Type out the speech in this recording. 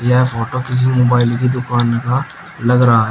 यह फोटो किसी मोबाइल की दुकान का लग रहा है।